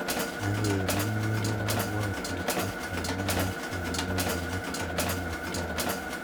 "Ak en inye ko kobwotutiet, ak komoite inyoru niton en oldage."